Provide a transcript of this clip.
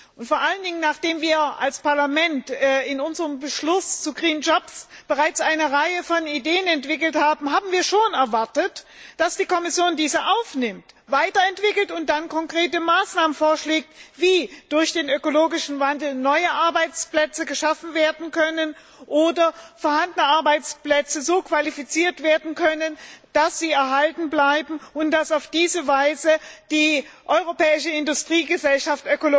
Und vor allen Dingen, nachdem wir als Parlament in unserem Beschluss zu bereits eine Reihe von Ideen entwickelt haben, haben wir schon erwartet, dass die Kommission diese aufnimmt, weiterentwickelt und dann konkrete Maßnahmen vorschlägt, wie durch den ökologischen Wandel neue Arbeitsplätze geschaffen werden können, oder vorhandene Arbeitsplätze so qualifiziert werden können, dass sie erhalten bleiben, und dass auf diese Weise die europäische Industriegesellschaft